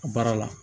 A baara la